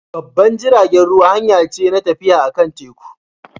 Babban jiragen ruwa hanya ce na tafiya akan teku.